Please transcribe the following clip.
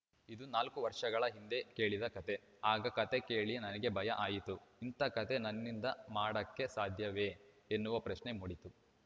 ಇದು ನಾಲ್ಕು ವರ್ಷಗಳ ಹಿಂದೆ ಕೇಳಿದ ಕತೆ ಆಗ ಕತೆ ಕೇಳಿ ನನಗೆ ಭಯ ಆಯಿತು ಇಂಥ ಕತೆ ನನ್ನಿಂದ ಮಾಡಕ್ಕೆ ಸಾಧ್ಯವೇ ಎನ್ನುವ ಪ್ರಶ್ನೆ ಮೂಡಿತು